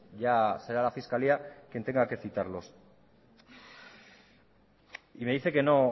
ya será la fiscalía quien tenga que citarlos y me dice que no